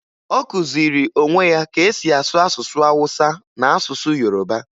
Ọ kụziri onwe ya ka e si asụ asụsụ Awụsa na asụsụ Yoroba